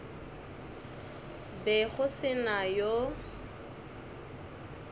be go se na yo